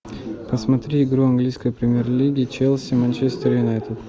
посмотри игру английской премьер лиги челси манчестер юнайтед